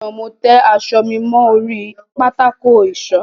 Lánàá, mo tẹ aṣọ mi mọ́ orí pátákó ìṣọ.